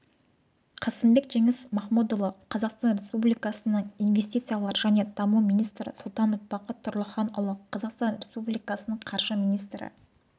қасымбек жеңіс махмұдұлы қазақстан республикасының инвестициялар және даму министрі сұлтанов бақыт тұрлыханұлы қазақстан республикасының қаржы министрі